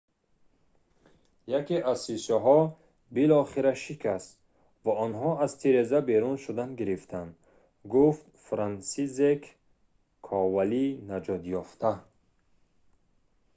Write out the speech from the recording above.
яке аз шишаҳо билохира шикаст ва онҳо аз тиреза берун шудан гирифтанд,» гуфт франсисзек ковали наҷотёфта